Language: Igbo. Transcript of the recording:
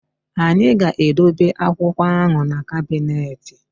Anyị ga-edobe akwụkwọ ahụ na kabịnetị